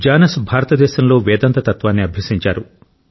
జానస్ భారతదేశంలో వేదాంత తత్వాన్ని అభ్యసించారు